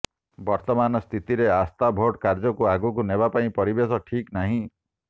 ବର୍ତ୍ତମାନ ସ୍ଥିତିରେ ଆସ୍ଥା ଭୋଟ କାର୍ଯ୍ୟକୁ ଆଗକୁ ନେବା ପାଇଁ ପରିବେଶ ଠିକ ନାହିଁ